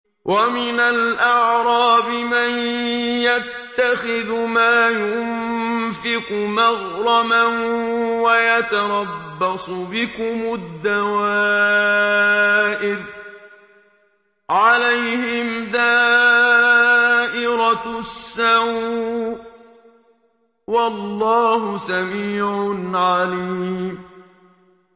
وَمِنَ الْأَعْرَابِ مَن يَتَّخِذُ مَا يُنفِقُ مَغْرَمًا وَيَتَرَبَّصُ بِكُمُ الدَّوَائِرَ ۚ عَلَيْهِمْ دَائِرَةُ السَّوْءِ ۗ وَاللَّهُ سَمِيعٌ عَلِيمٌ